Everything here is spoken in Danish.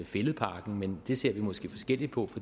fælledparken men det ser vi måske forskelligt på